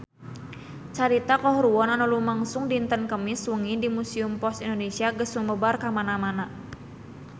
Carita kahuruan anu lumangsung dinten Kemis wengi di Museum Pos Indonesia geus sumebar kamana-mana